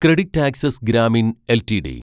CreditAccess Grameen LTD